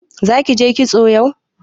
Zaki je kitso yau?